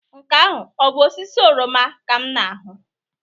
Nke ahụ bụ osisi oroma ka m na-ahụ?